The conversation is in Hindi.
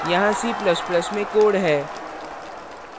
यहाँ c ++ में code है